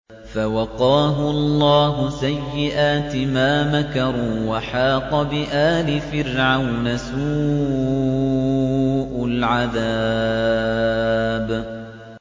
فَوَقَاهُ اللَّهُ سَيِّئَاتِ مَا مَكَرُوا ۖ وَحَاقَ بِآلِ فِرْعَوْنَ سُوءُ الْعَذَابِ